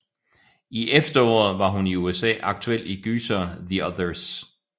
I efteråret var hun i USA aktuel i gyseren The Others